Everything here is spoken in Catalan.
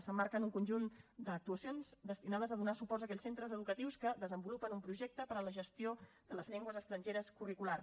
s’emmarca en un conjunt d’actuacions destinades a donar suports a aquells centres educatius que desenvolupen un projecte per a la gestió de les llengües estrangeres curricular